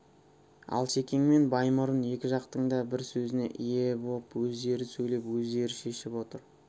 алшекең мен баймұрын екі жақтың да бар сөзіне ие боп өздері сөйлеп өздері шешіп отыр